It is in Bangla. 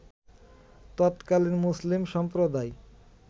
তৎকালীন মুসলিম সম্প্রদায়